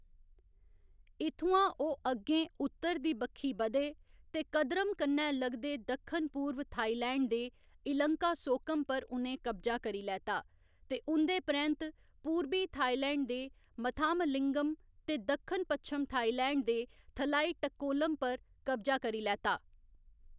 इत्थुआं ओह्‌‌ अग्गें उत्तर दी बक्खी बधे ते कदरम कन्नै लगदे दक्खन पूर्व थाईलैंड दे इलंकासोकम पर उ'नें कब्जा करी लैता ते उं'दे परैंत्त पूरबी थाईलैंड दे मथामलिंगम ते दक्खन पच्छम थाईलैंड दे थलाईटक्कोलम पर कब्जा करी लैता।